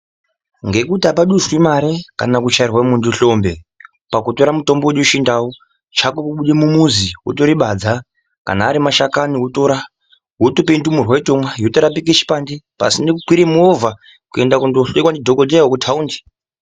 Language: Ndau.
Ngekuti apa duswi mare kana kuchairwe muntu hlombe pakutora mutombo wedu wechindau chako kubude mumuzi wotore badza kana ari mashakani wotora wotope ndumurwa yotomwa yotorapike chipande pasine kukwire movha kundoenda kuno hloyiwa ndi dhokodheya weku taundi.